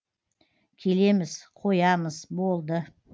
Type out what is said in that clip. келеміз қоямыз болды